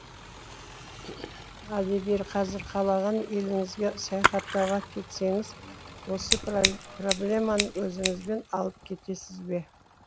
ал егер қазір қалаған еліңізге саяхаттауға кетсеңіз осы проблеманы өзіңізбен алып кетесіз бе